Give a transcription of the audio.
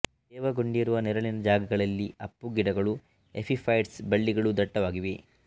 ತೇವಗೊಂಡಿರುವ ನೆರಳಿನ ಜಾಗಗಳಲ್ಲಿ ಅಪ್ಪು ಗಿಡಗಳೂ ಎಪಿ ಫೈಟ್ಸ್ ಬಳ್ಳಿಗಳೂ ದಟ್ಟವಾಗಿವೆ